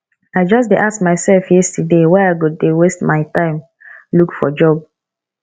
i just dey ask myself yesterday why i go dey waste my time look for job